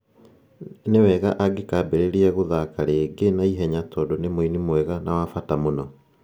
Nĩ wega angĩkambĩrĩria gũthaaka rĩngĩ na ihenya tondũ nĩ mũini mwega na wa bata mũno.'